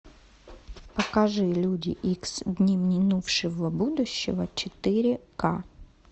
покажи люди икс дни минувшего будущего четыре ка